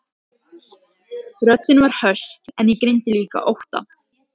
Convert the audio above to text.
Röddin var höst en ég greindi líka ótta.